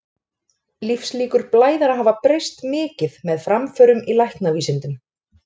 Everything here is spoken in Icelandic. Lífslíkur blæðara hafa breyst mikið með framförum í læknavísindum.